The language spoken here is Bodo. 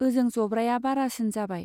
ओजों जब्राया बारासिन जाबाय।